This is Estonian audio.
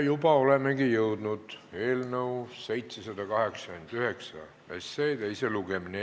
Juba olemegi jõudnud eelnõu 789 teise lugemiseni.